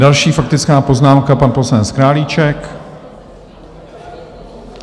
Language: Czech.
Další faktická poznámka, pan poslanec Králíček.